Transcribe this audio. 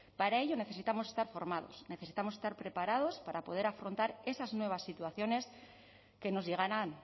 para ello necesitamos estar formados necesitamos estar preparados para poder afrontar esas nuevas situaciones que nos llegarán